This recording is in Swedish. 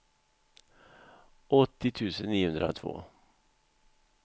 åttio tusen niohundratvå